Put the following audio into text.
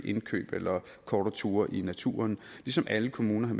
indkøb eller kortere ture i naturen ligesom alle kommuner